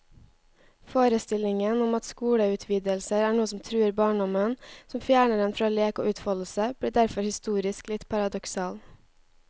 Forestillingen om at skoleutvidelser er noe som truer barndommen, som fjerner den fra lek og utfoldelse, blir derfor historisk litt paradoksal.